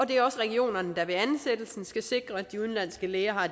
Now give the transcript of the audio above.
det er også regionerne der ved ansættelsen skal sikre at de udenlandske læger